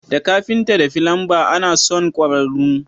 Da kafitan da filanba ana son kwararru.